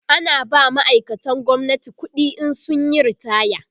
ana ba ma'aikatan gwamnati ƙuɗi in sun Yi ritaya